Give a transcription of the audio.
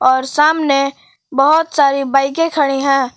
और सामने बहुत सारी बाइके खड़ी हैं।